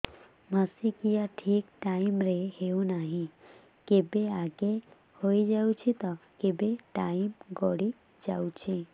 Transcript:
ମାସିକିଆ ଠିକ ଟାଇମ ରେ ହେଉନାହଁ କେବେ ଆଗେ ହେଇଯାଉଛି ତ କେବେ ଟାଇମ ଗଡି ଯାଉଛି